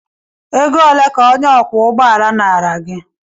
Ego ole ka onye ọkwọ ụgbọ ala nara gị?